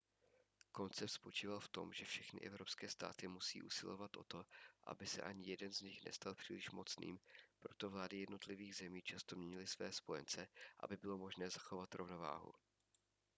koncept spočíval v tom že všechny evropské státy musí usilovat o to aby se ani jeden z nich nestal příliš mocným proto vlády jednotlivých zemí často měnily své spojence aby bylo možné zachovat rovnováhu